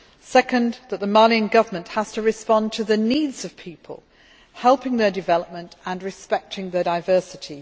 secondly, that the Malian Government has to respond to the needs of the people, helping their development and respecting their diversity.